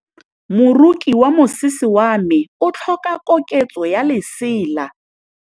Moroki wa mosese wa me o tlhoka koketsô ya lesela.